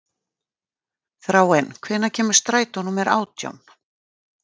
Þráinn, hvenær kemur strætó númer átján?